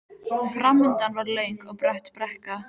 Framundan var löng og brött brekka.